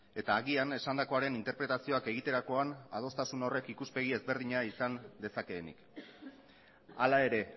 eta agian esandakoaren interpretazioak egiterakoan adostasun horrek ikuspegi ezberdina izan dezakeenik hala ere